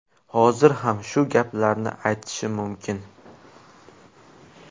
Hozir ham shu gaplarni aytishim mumkin.